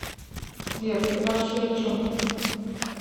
сбер ты вообще о чем